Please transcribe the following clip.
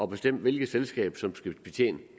bestemme hvilket selskab som skal betjene